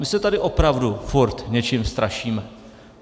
My se tady opravdu furt něčím strašíme.